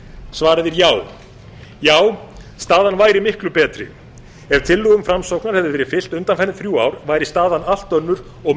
svarið er já já staðan væri miklu betri ef tillögum framsóknar hefði verið fylgt undanfarin þrjú ár væri staðan allt önnur og